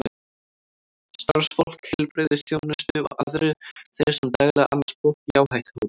Starfsfólk heilbrigðisþjónustu og aðrir þeir sem daglega annast fólk í áhættuhópum.